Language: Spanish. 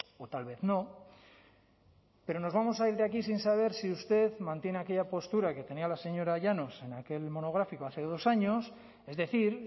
o tal vez no pero nos vamos a ir de aquí sin saber si usted mantiene aquella postura que tenía la señora llanos en aquel monográfico hace dos años es decir